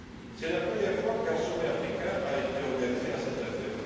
C'est la première fois qu'un sommet africain a été organisé à cet effet.